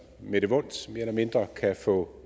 med det vons mere eller mindre kan få